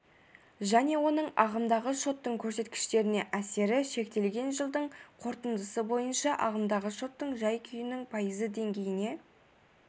және оның ағымдағы шоттың көрсеткіштеріне әсері шектелген жылдың қорытындысы бойынша ағымдағы шоттың жай-күйінің пайызы деңгейіне